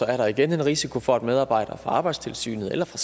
er der igen en risiko for at medarbejdere fra arbejdstilsynet eller fra